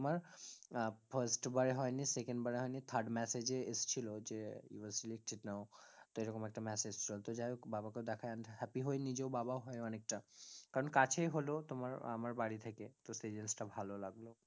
আহ Firts বারে হয়নি second বাড়ে হয়নি third massage এ এসেছিলো যে youare selected now তো এরকম একটা massage যাইহোক বাবাকেও দেখে আমিতো happy হয়নি যে বাবাও হয় অনেকটা কারণ কাছেই হলো তোমার আমার বাড়ি থেকে তো সেই জিনিস টা ভালো লাগলো